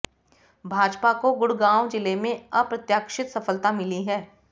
भाजपा को गुड़गांव जिले में अप्रत्याशित सफलता मिली है